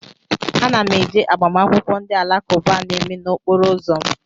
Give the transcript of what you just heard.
Ana m eje agbamakwụkwọ ndị alakụba a na-eme n'okporo ụzọ m